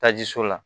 Tajiso la